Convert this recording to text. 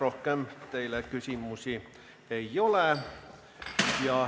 Rohkem teile küsimusi ei ole.